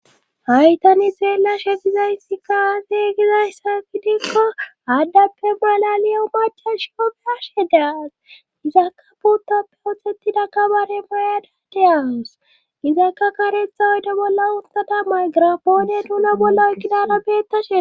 Hay tani xeelashe dizayssi kaafe gizayssa fidikko addappe bola le upacash goplashe daas gizaka puuttappe otxhetida kabare mayada deyawus gizakka karetha oyde bolla untata maygira poone tuno bolla ykkidaara beettashe.